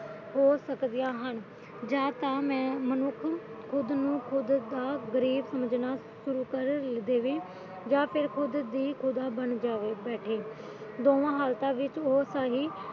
ਹੋ ਸਕਦੀਆਂ ਹਨ ਜਾਂ ਤਾਂ ਮਨੁੱਖ ਖੁਦ ਨੂੰ ਖੁੱਦ ਦਾ ਗਰੇ ਸਮਝਣਾ ਸ਼ੁਰੂ ਕਰ ਦੇਵੇ ਜਾਂ ਖੁੱਦ ਹੀ ਖੁਦਾ ਬਣ ਬੈਠੇ